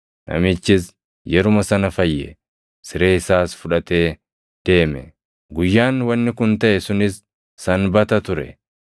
Namichis yeruma sana fayye; siree isaas fudhatee deeme. Guyyaan wanni kun taʼe sunis Sanbata ture;